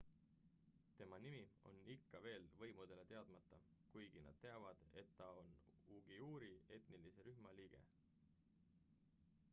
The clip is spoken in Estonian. tema nimi on ikka veel võimudele teadmata kuigi nad teavad et ta on uiguuri etnilise rühma liige